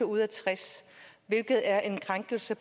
ud af tres hvilket er en krænkelse